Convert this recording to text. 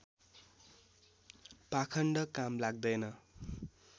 पाखण्ड काम लाग्दैन